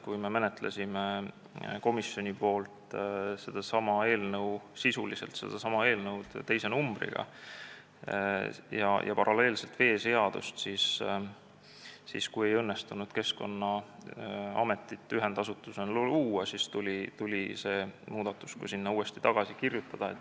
Kui me menetlesime komisjonis sisuliselt sedasama eelnõu, mis oli siis teise numbriga, ja paralleelselt veeseadust, aga Keskkonnaametit ühendasutusena ei õnnestunud luua, siis tuli see tekst uuesti sinna tagasi kirjutada.